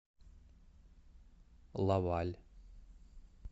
лаваль